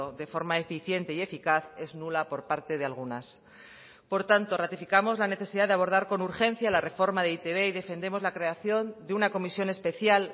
de forma eficiente y eficaz es nula por parte de algunas por tanto ratificamos la necesidad de abordar con urgencia la reforma de e i te be y defendemos la creación de una comisión especial